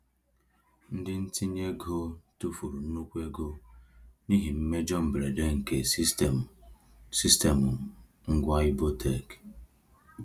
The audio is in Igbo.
Ndị ntinye ego tufuru nnukwu ego n’ihi mmejọ mberede nke sistemụ sistemụ ngwa Ibotek.